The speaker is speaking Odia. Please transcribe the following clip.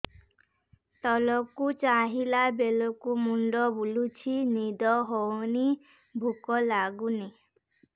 ତଳକୁ ଚାହିଁଲା ବେଳକୁ ମୁଣ୍ଡ ବୁଲୁଚି ନିଦ ହଉନି ଭୁକ ଲାଗୁନି